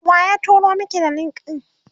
waye turo Maki da link ɗin?